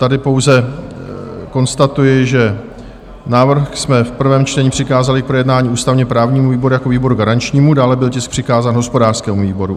Tady pouze konstatuji, že návrh jsme v prvém čtení přikázali k projednání ústavně-právnímu výboru jako výboru garančnímu, dále byl tisk přikázán hospodářskému výboru.